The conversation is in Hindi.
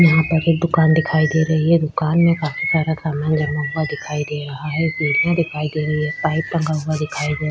यहाँ पर एक दुकान दिखाई दे रही है दुकान में काफी सारा सामान जमा हुआ दिखाई दे रहा है सीढियां दिखाई दे रही है पाइप टंगा हुआ दिखाई दे रहा है।